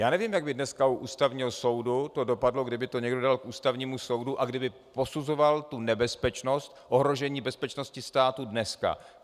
Já nevím, jak by dneska u Ústavního soudu to dopadlo, kdyby to někdo dal k Ústavnímu soudu a kdyby posuzoval tu nebezpečnost, ohrožení bezpečnosti státu dnes.